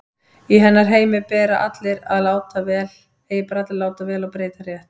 Í hennar heimi eiga bara allir að láta vel og breyta rétt.